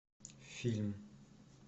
фильм